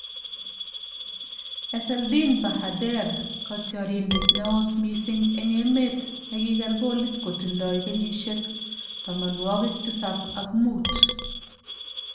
Ezzeldin Bahader:Kotiorindet neoos missing eng emet ne kiker kolit kotindoi kenyisiek tamanwokik tisab ak muut